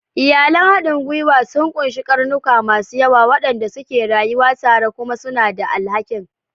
Iyalan haɗin gwiwa sun ƙunshi ƙarnuka masu yawa waɗanda suke rayuwa tare kuma suna da alhakin.